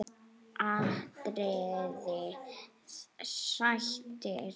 atriði: Sættir?